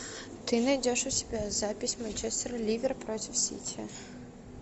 ты найдешь у себя запись манчестер ливер против сити